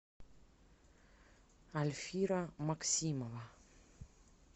альфира максимова